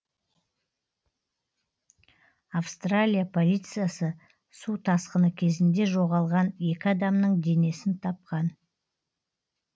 австралия полициясы су тасқыны кезінде жоғалған екі адамның денесін тапқан